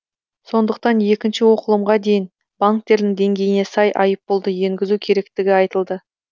сондықтан екінші оқылымға дейін банктердің деңгейіне сай айыппұлды енгізу керектігі айтылды